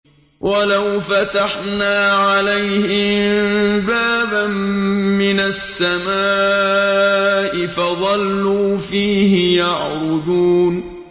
وَلَوْ فَتَحْنَا عَلَيْهِم بَابًا مِّنَ السَّمَاءِ فَظَلُّوا فِيهِ يَعْرُجُونَ